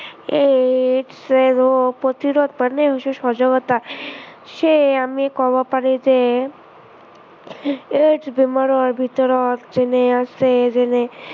AIDS ৰোগ প্ৰতিৰোধৰ কাৰনে বিশেষ সজাগতা, সেয়ে আমি কব পাৰি যে, AIDS বেমাৰৰ ভিতৰত যোনে আছে, যেনে